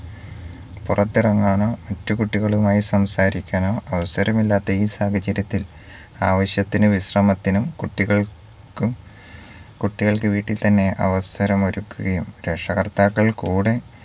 പുറത്തിറങ്ങാനോ മറ്റു കുട്ടികളുമായി സംസാരിക്കാനോ അവസരമില്ലാത്ത ഈ സാഹചര്യത്തിൽ ആവിശ്യത്തിന് വിശ്രമത്തിനും കുട്ടികൾക്കും കുട്ടികൾക്ക് വീട്ടിൽത്തന്നെ അവസരമൊരുക്കുകയും രക്ഷകർത്താക്കൾ കൂടെ